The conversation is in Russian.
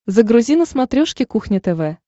загрузи на смотрешке кухня тв